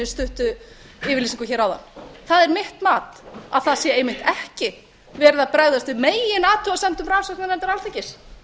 stuttu yfirlýsingu hér áðan það er mitt mat að það sé einmitt ekki verið að bregðast við meginathugasemdum rannsóknarnefndar alþingis